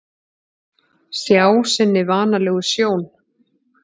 Sjá sinni vanalegu sjón.